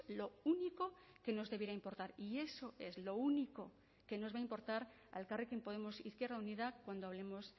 lo único que nos debiera importar y eso es lo único que nos va a importar a elkarrekin podemos izquierda unida cuando hablemos